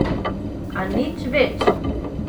A nič več!